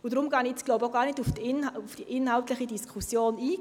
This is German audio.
Ich glaube, deshalb gehe ich jetzt gar nicht auf die inhaltliche Diskussion ein.